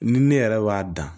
Ni ne yɛrɛ b'a dan